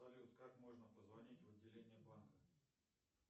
салют как можно позвонить в отделение банка